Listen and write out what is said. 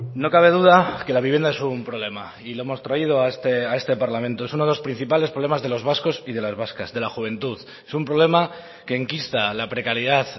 no cabe duda que la vivienda es un problema y lo hemos traído a este parlamento es uno de los principales problemas de los vascos y de las vascas de la juventud es un problema que enquista la precariedad